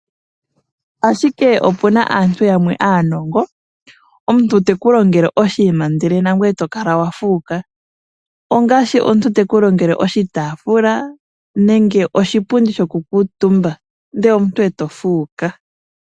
Ashike opu na aantu yamwe aanongo omuntu teku longele oshinima ndele nangoye to kala wa fuuka ongaashi omuntu teku longele oshitafula nenge teku ningile oshipundi shokukutumba ndele omuntu e to fuuka.